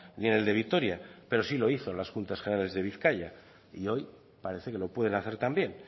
ni en el de vitoria pero sí lo hizo en las juntas generales de bizkaia y hoy parece que lo pueden hacer también